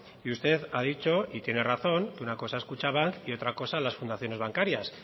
y usted ha dicho y tiene razón una cosa es kutxabank y otra cosa las fundaciones bancarias